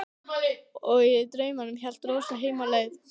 Og í draumnum hélt Rósa heim á leið.